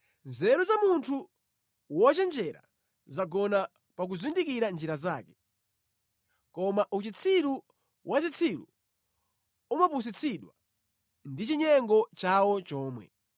Nzeru za munthu wochenjera zagona pakuzindikira njira zake. Koma uchitsiru wa zitsiru umapusitsidwa ndi chinyengo chawo chomwe.